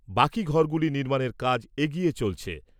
বাকি ঘরগুলি নির্মাণের কাজ এগিয়ে চলছে।